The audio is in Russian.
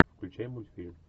включай мультфильм